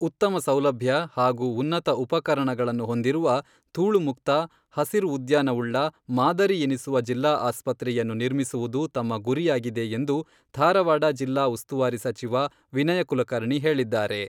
ಉತ್ತಮ ಸೌಲಭ್ಯ ಹಾಗೂ ಉನ್ನತ ಉಪಕರಣಗಳನ್ನು ಹೊಂದಿರುವ ದೂಳು ಮುಕ್ತ ಹಸಿರು ಉದ್ಯಾನ ಉಳ್ಳ ಮಾದರಿ ಎನಿಸುವ ಜಿಲ್ಲಾ ಆಸ್ಪತ್ರೆಯನ್ನು ನಿರ್ಮಿಸುವುದು ತಮ್ಮ ಗುರಿಯಾಗಿದೆ ಎಂದು ಧಾರವಾಡ ಜಿಲ್ಲಾ ಉಸ್ತುವಾರಿ ಸಚಿವ ವಿನಯ ಕುಲಕರ್ಣಿ ಹೇಳಿದ್ದಾರೆ.